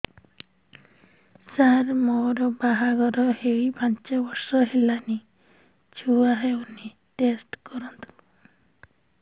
ସାର ମୋର ବାହାଘର ହେଇ ପାଞ୍ଚ ବର୍ଷ ହେଲାନି ଛୁଆ ହେଇନି ଟେଷ୍ଟ କରନ୍ତୁ